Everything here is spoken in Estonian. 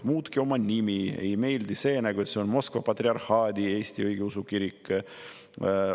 Muutke oma nimi ära, meile ei meeldi see, et see on Moskva Patriarhaadi Eesti Õigeusu Kirik!